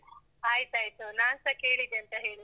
ಆಯ್ತಾಯ್ತು. ನಾನ್ಸ ಕೇಳಿದೆ ಅಂತ ಹೇಳಿ.